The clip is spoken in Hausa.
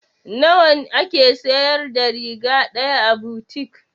Nawa a ke siyar da riga ɗaya a butik?